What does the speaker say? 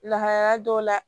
Lahalaya dɔw la